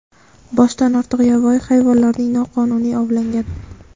boshdan ortiq yovvoyi hayvonlarning noqonuniy ovlangan.